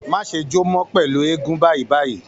Má ṣe jó mọ́ pẹ̀lú eégún báyìí báyìí